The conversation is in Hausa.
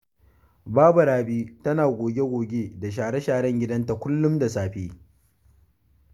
Baba Rabi tana goge-goge da share-sharen gidanta kullum da safe.